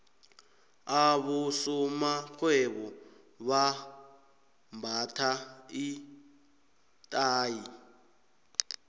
abosomarhwebo bambatha iinthayi